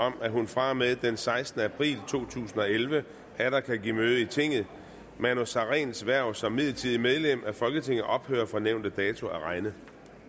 om at hun fra og med den sekstende april to tusind og elleve atter kan give møde i tinget manu sareens hverv som midlertidigt medlem af folketinget ophører fra nævnte dato at regne